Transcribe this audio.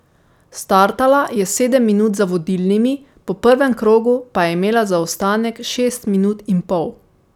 Startala je sedem minut za vodilnimi, po prvem krogu pa je imela zaostanek šest minut in pol.